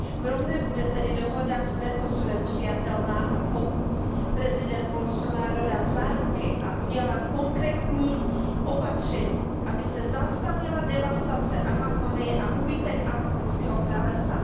Pro mne bude tedy dohoda s Mercosurem přijatelná, pokud prezident Bolsonaro dá záruky a udělá konkrétní opatření, aby se zastavila devastace Amazonie a úbytek amazonského pralesa.